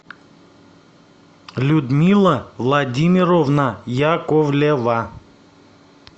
людмила владимировна яковлева